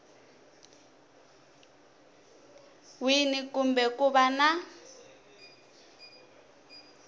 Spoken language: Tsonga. wini kumbe ku va na